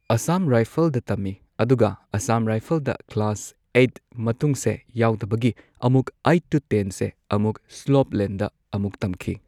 ꯑꯁꯝ ꯔꯥꯏꯐꯜꯗ ꯇꯝꯃꯦ ꯑꯗꯨꯒ ꯑꯁꯥꯝ ꯔꯥꯏꯐꯜꯗ ꯀ꯭ꯂꯥꯁ ꯑꯩꯠ ꯃꯇꯨꯡꯁꯦ ꯌꯥꯎꯗꯕꯒꯤ ꯑꯃꯨꯛ ꯑꯩꯠ ꯇꯨ ꯇꯦꯟꯁꯦ ꯑꯃꯨꯛ ꯁ꯭ꯂꯣꯞ ꯂꯦꯟꯗ ꯑꯃꯨꯛ ꯇꯝꯈꯤ꯫